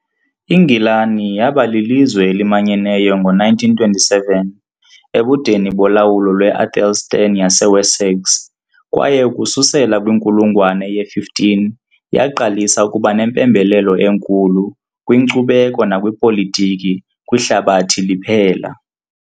INgilani yaba lilizwe elimanyeneyo ngo -927, ebudeni bolawulo lwe-AEthelstan yaseWessex, kwaye ukususela kwinkulungwane ye-15 yaqalisa ukuba nempembelelo enkulu, kwinkcubeko nakwipolitiki, kwihlabathi liphela.